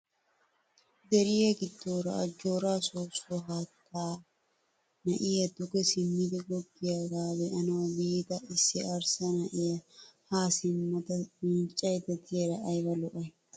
Deriya giddoora ajjooraa soossuwa haattay naa"ay duge simmidi goggiyaaga be'anawu biida issi arssa na'iya haa simmada miiccayidda diyara ayiba lo'ay!